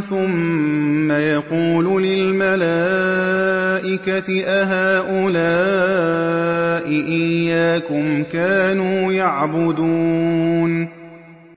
ثُمَّ يَقُولُ لِلْمَلَائِكَةِ أَهَٰؤُلَاءِ إِيَّاكُمْ كَانُوا يَعْبُدُونَ